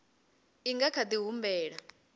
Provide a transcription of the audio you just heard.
i nga kha di humbela